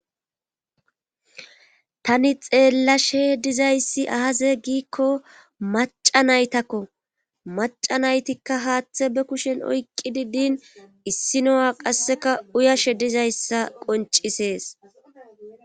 Tani xeellashe dizayssi ahaze giikko maca naytakko maca naytikka haaththe be kushen oyqqi diddin issino'a qasseka uyashe dizayssa qoncisees.